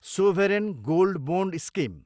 sovereign gold bond scheme